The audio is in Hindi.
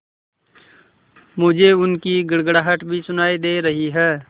मुझे उनकी गड़गड़ाहट भी सुनाई दे रही है